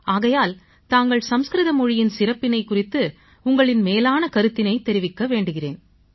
ஆகையால் தாங்கள் சமஸ்கிருத மொழியின் சிறப்பு குறித்த உங்களின் மேலான கருத்தினைத் தெரிவிக்க வேண்டுகிறேன்